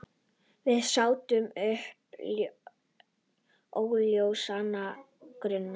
Við sátum uppi óljósan grun.